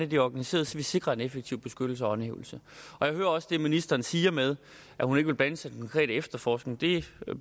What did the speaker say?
det er organiseret så vi sikrer en effektiv beskyttelse og håndhævelse jeg hører også det ministeren siger med at hun ikke vil blande sig i efterforskning det